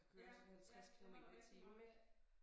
Ja ja dem er der rigtig mange af